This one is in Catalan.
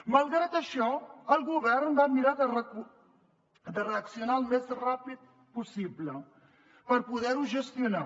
malgrat això el govern va mirar de reaccionar al més ràpid possible per poder ho gestionar